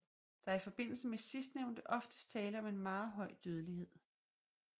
Der er i forbindelse med sidstnævnte oftest tale om en meget høj dødelighed